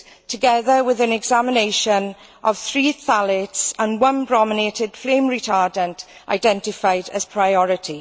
together with an examination of three phthalates and one brominated flame retardant identified as priority.